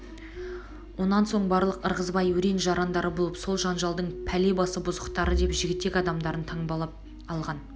онан соң барлық ырғызбай өрен-жарандары болып сол жанжалдың пәле басы бұзықтары деп жігітек адамдарын таңбалап алған